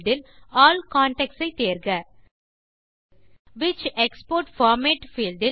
field இல் all contacts ஐ தேர்க விச் எக்ஸ்போர்ட் பார்மேட்